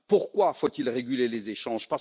Pourquoi faut il réguler les échanges?